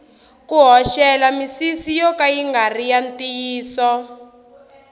ku hoxela misisi yo ka ya ngari ya ntiyiso